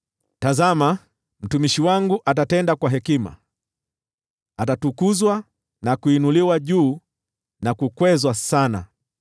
Tazama, mtumishi wangu atatenda kwa hekima; atatukuzwa, na kuinuliwa juu, na kukwezwa sana.